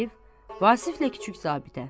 Arif, Vasiflə kiçik zabitə.